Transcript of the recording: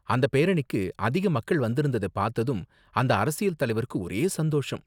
அந்த பேரணிக்கு அதிக மக்கள் வந்திருந்தத பார்த்ததும் அந்த அரசியல் தலைவருக்கு ஒரே சந்தோஷம்.